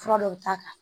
Fura dɔw ta